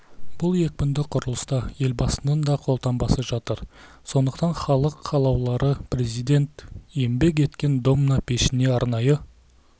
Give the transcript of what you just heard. бұл екпінді құрылыста елбасының да қолтаңбасы жатыр сондықтан халық қалаулылары президент еңбек еткен домна пешіне арнайы